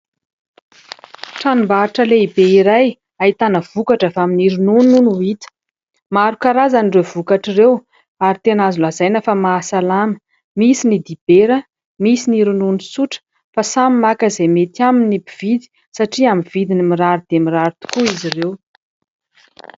Tranombarotra lehibe iray ahitana vokatra avy amin'ny ronono no hita. Maro karazan'ireo vokatra ireo ary tena azo lazaina fa mahasalama, misy ny dibera misy ny ronono tsotra fa samy maka izay mety aminy ny mpividy satria amin'ny vidiny mirary dia mirary tokoa izy ireo.